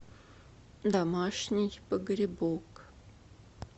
домашний погребок